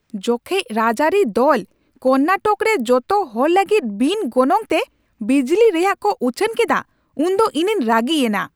ᱡᱚᱠᱷᱮᱡ ᱨᱟᱡᱽᱟᱹᱨᱤ ᱫᱚᱞ ᱠᱚᱨᱱᱟᱴᱚᱠ ᱨᱮ ᱡᱚᱛᱚ ᱦᱚᱲ ᱞᱟᱹᱜᱤᱫ ᱵᱤᱱ ᱜᱚᱱᱚᱝᱛᱮ ᱵᱤᱡᱽᱞᱤ ᱨᱮᱭᱟᱜ ᱠᱚ ᱩᱪᱷᱟᱹᱱ ᱠᱮᱫᱟ ᱩᱱᱫᱚ ᱤᱧᱤᱧ ᱨᱟᱹᱜᱤ ᱮᱱᱟ ᱾